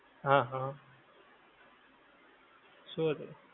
હાં હં. શું હતું?